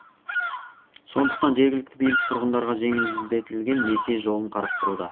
сондықтан жергілікті билік тұрғындарға жеңілдетілген несие жолын қарастыруда